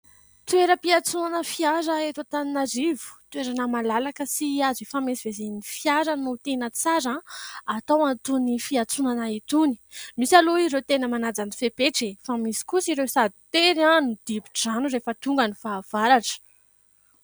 Toeram-piantsonana fiara eto Antananarivo. Toerana malalaka sy azo hifamezivezen'ny fiara no tena tsara atao an'itony fiantsonana itony ; misy aloha ireo tena manaja ny fepetra e ! Fa misy kosa ireo sady tery no dibo-drano rehefa tonga ny fahavaratra.